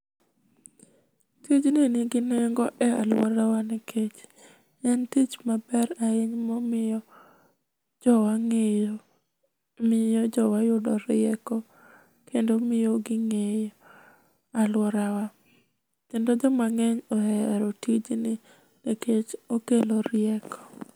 Tijni nigi nengo e aluorawa nikech en tich maber ahinya momiyo jowa ng'eyo miyo jowa yudo rieko, kendo miyo ging'eyo aluorawa. Kendo joma ng'eny ohero tijni nikech okelo rieko.